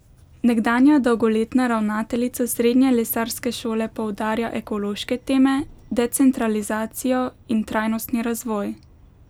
Nekdanja dolgoletna ravnateljica srednje lesarske šole poudarja ekološke teme, decentralizacijo in trajnostni razvoj.